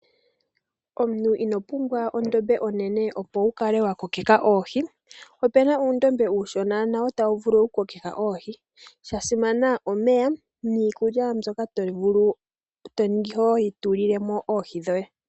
Omuntu ino pumbwa ondombe onene opo wu kale wa kokeke oohi, opu na uundombe uushona nawo tawu vulu okukokitha oohi ,sha simana omeya niikulya mbyoka to vulu okukala to tulilemo oohi dhoye.